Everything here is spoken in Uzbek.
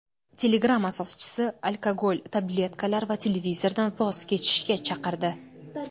Telegram asoschisi alkogol, tabletkalar va televizordan voz kechishga chaqirdi.